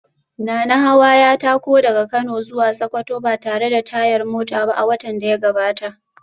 Nanahawa ya tako daga Kano zuwa Sokoto ba tare da tayar mota ba a watan da ya gabata